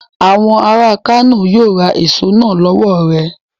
Àwọn ará Kano yíó ra èso náà lọ́wọ̀ rẹ..